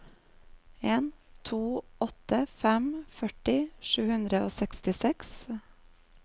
en to åtte fem førti sju hundre og sekstiseks